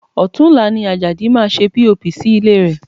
Ọ̀tunla ni Ajadi máa ṣe POP sí ilé rẹ̀